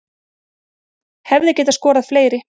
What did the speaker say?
Hefði getað skorað fleiri